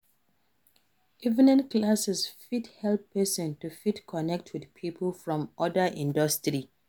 Evening classes fit help person to fit connect with pipo from oda industry